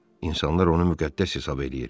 İnsanlar onu müqəddəs hesab eləyir.